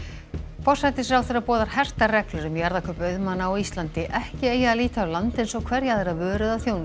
forsætisráðherra boðar hertar reglur um jarðakaup auðmanna á Íslandi ekki eigi að líta á land eins og hverja aðra vöru eða þjónustu